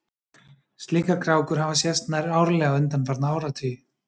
slíkar krákur hafa sést nær árlega undanfarna áratugi